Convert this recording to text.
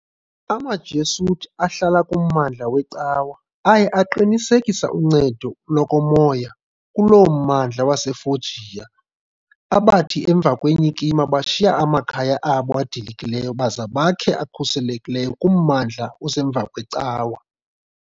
AmaJesuit, ahlala kummandla weCawa, aye aqinisekisa uncedo lokomoya kuloo mmandla waseFoggia, abathi emva kwenyikima bashiya amakhaya abo adilikileyo baza bakhe akhuselekileyo kummandla osemva kweCawa.